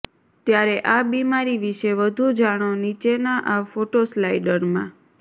ત્યારે આ બિમારી વિષે વધુ જાણો નીચેના આ ફોટોસ્લાઇડરમાં